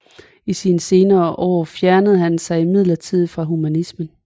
I sine senere år fjernede han sig imidlertid fra humanismen